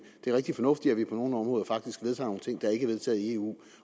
er rigtig fornuftigt at vi på nogle områder faktisk vedtager nogle ting der ikke er vedtaget i eu